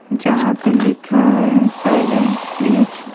जहां पे लिखा है साइलेंस प्लीज --